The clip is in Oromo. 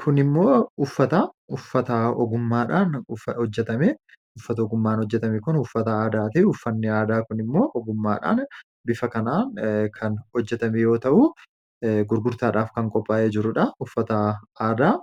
Kun uffata aadaati. Uffanni kunis uffata ogummaadhaan